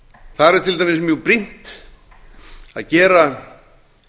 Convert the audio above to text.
þar er til dæmis mjög brýnt að gera